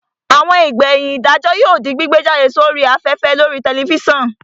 Àwọn ìgbẹ̀yìn ìdájọ́ yóò di gbígbé jáde sí orí afẹ́fẹ́ lórii tẹlifísàn